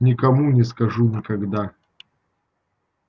никому не скажу никогда